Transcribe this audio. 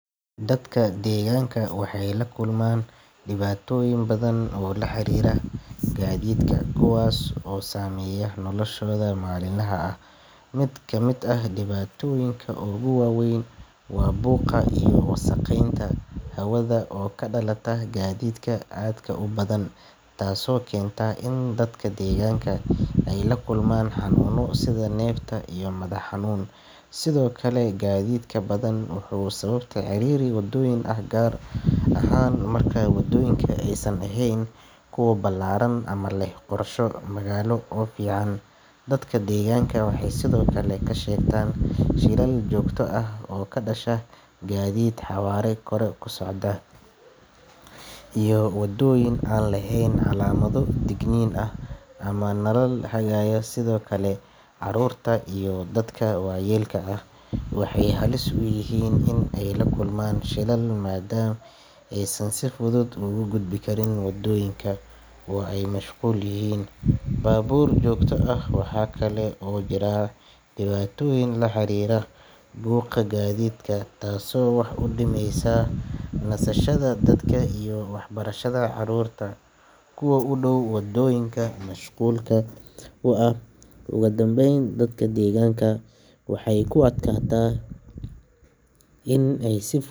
Dadka degaanka waxay la kulmaan dhibaatooyin badan oo la xiriira gaadiidka kuwaas oo saameeya noloshooda maalinlaha ah mid kamid ah dhibaatooyinka ugu waaweyn waa buuqa iyo wasakheynta hawada oo ka dhalata gaadiidka aadka u badan taasoo keenta in dadka deegaanka ay la kulmaan xanuuno sida neefta iyo madax xanuun sidoo kale gaadiidka badan wuxuu sababa ciriiri waddooyinka ah gaar ahaan marka waddooyinka aysan ahayn kuwo ballaaran ama leh qorshe magaalo oo fiican dadka degaanka waxay sidoo kale ka sheegtaan shilal joogto ah oo ka dhasha gaadiid xawaare sare ku socda iyo wadooyin aan lahayn calaamado digniin ah ama nalal hagaya sidoo kale caruurta iyo dadka waayeelka ah waxay halis u yihiin in ay la kulmaan shilal maadaama aysan si fudud ugu gudbi karin waddooyinka oo ay mashquul yihiin baabuur joogto ah waxaa kale oo jira dhibaatooyin la xiriira buuqa gaadiidka taasoo wax u dhimaysa nasashada dadka iyo waxbarashada carruurta kuwa u dhow waddooyinka mashquulka ah ugu dambeyn, dadka degaanka waxay ku adkaataa in ay si.